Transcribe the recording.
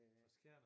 Fra Skjern